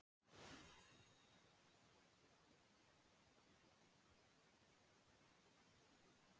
Heimir: Var vel tekið í hugmynd þína að þessari stjórnarmyndun af hálfu þingflokksins?